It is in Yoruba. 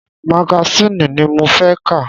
Magasiini ni mo fẹ́ ka!